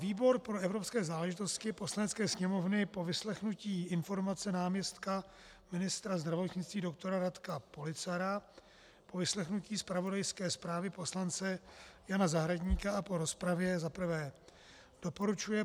Výbor pro evropské záležitosti Poslanecké sněmovny po vyslechnutí informace náměstka ministra zdravotnictví doktora Radka Policara, po vyslechnutí zpravodajské zprávy poslance Jana Zahradníka a po rozpravě za prvé doporučuje